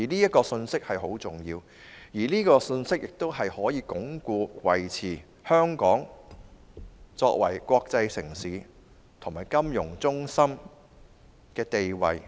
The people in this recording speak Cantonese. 這個信息十分重要，是香港鞏固和維持國際城市和金融中心地位的最重要因素。